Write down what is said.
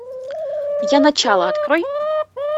я начало открой